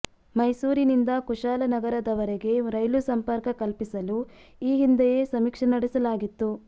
ಮೈಸೂರಿನಿಂದ ಕುಶಾಲನಗರದವರೆಗೆ ರೈಲು ಸಂಪರ್ಕ ಕಲ್ಪಿಸಲು ಈ ಹಿಂದೆಯೇ ಸಮೀಕ್ಷೆ ನಡೆಸಲಾಗಿತ್ತು